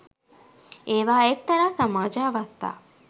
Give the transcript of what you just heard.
ඒවා එක්තරා සමාජ අවස්ථා